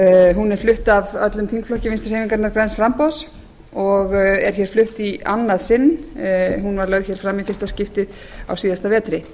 hún er flutt af öllum þingflokki vinstri hreyfingarinnar græns framboðs og er hér flutt í annað sinn en hún var lögð hér fram í fyrsta skipti á síðasta vetri